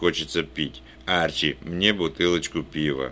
хочется пить арчи мне бутылочку пива